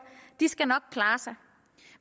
skal nok klare sig